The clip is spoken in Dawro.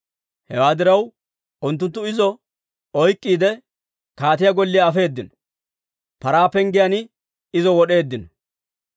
Hewaa diraw, unttunttu izo oyk'k'iide, kaatiyaa golliyaa afeedino; Paraa Penggiyaan izo wod'eeddino.